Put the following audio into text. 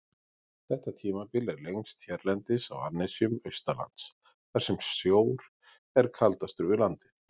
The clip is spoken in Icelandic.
Þetta tímabil er lengst hérlendis á annesjum austanlands, þar sem sjór er kaldastur við landið.